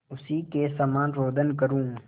उसी के समान रोदन करूँ